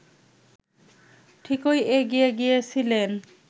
ঠিকই এগিয়ে গিয়েছিলেন